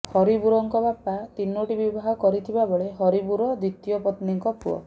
ହବିବୁରଙ୍କ ବାପା ତିନୋଟି ବିବାହ କରିଥିବା ବେଳେ ହବିବୁର ଦ୍ବିତୀୟ ପନ୍ନୀଙ୍କ ପୁଅ